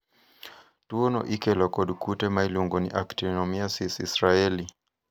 tuo no ikelo kod kute ma iluongo ni Actinomyces israelii.